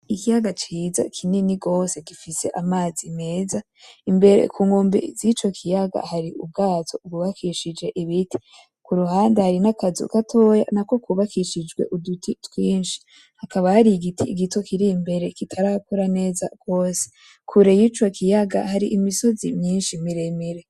Ikiyaga ciza kinini gose gifise amazi meza, imbere ku nkombe z'ico kiyaga hari ubwato bwubakishije ibiti ,kuruhande hari n'akazu gatoya nako kubakishije uduti twinshi ,hakaba har'igiti gito kir'imbere kitarakura neza gose, kure y'ico kiyaga har' imisozi myishi miremire .